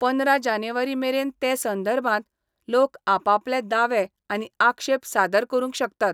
पंदरा जानेवारी मेरेन ते संदर्भात, लोक आपापले दावे आनी आक्षेप सादर करूंक शकतात.